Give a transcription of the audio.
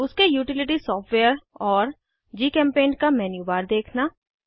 उसके utility softwares और जीचेम्पेंट का मेन्यू बार देखना